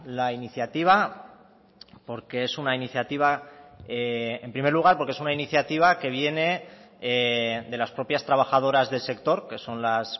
la iniciativa porque es una iniciativa que viene de las propias trabajadoras del sector que son las